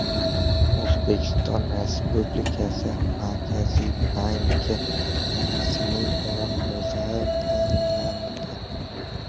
O‘zbekiston Respublikasi Markaziy banki raisining o‘rinbosari tayinlandi.